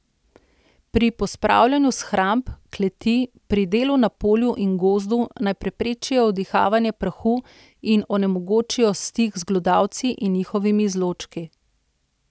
Pri pospravljanju shramb, kleti, pri delu na polju in gozdu naj preprečijo vdihanje prahu in onemogočijo stik z glodavci in njihovimi izločki.